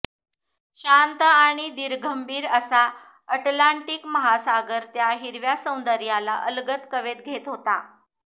शांत आणि धीरगंभीर असा अटलांटिक महासागर त्या हिरव्या सौंदर्याला अलगद कवेत घेत होता